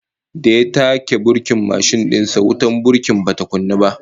Da ya taka burkin mashin din sa, wutar burki bata kunnu ba